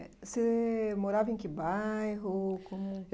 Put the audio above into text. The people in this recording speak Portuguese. Você morava em que bairro? Como